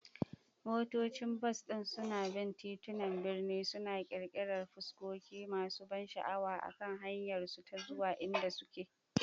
Motocin bas din suna bin titunan birni, suna ƙirƙirar fuskoki masu ban sha'awa akan hanyarsu ta zuwa inda suke.